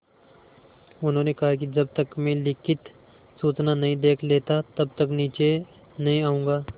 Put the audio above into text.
उन्होंने कहा कि जब तक मैं लिखित सूचना नहीं देख लेता तब तक नीचे नहीं आऊँगा